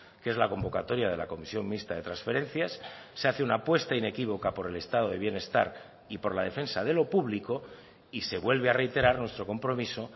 que es la convocatoria de la comisión mixta de transferencias se hace una apuesta inequívoca por el estado de bienestar y por la defensa de lo público y se vuelve a reiterar nuestro compromiso